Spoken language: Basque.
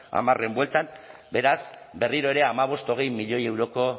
hamarren bueltan beraz berriro ere hamabost hogei milioi euroko